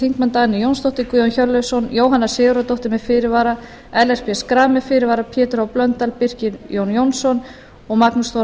þingmenn dagný jónsdóttir guðjón hjörleifsson jóhanna sigurðardóttir með fyrirvara ellert b schram með fyrirvara pétur h blöndal birkir j jónsson og magnús þór